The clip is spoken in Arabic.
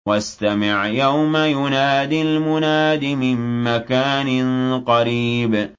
وَاسْتَمِعْ يَوْمَ يُنَادِ الْمُنَادِ مِن مَّكَانٍ قَرِيبٍ